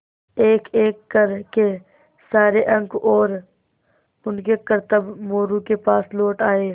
एकएक कर के सारे अंक और उनके करतब मोरू के पास लौट आये